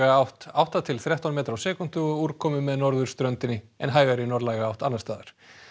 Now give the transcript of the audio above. átt átta til þrettán metrar á sekúndu og úrkomu með norðurströndinni en hægari norðlæga átt annars staðar